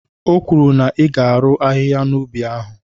O kwuru na ị ga-arụ ahịhịa na'ubi ahụ.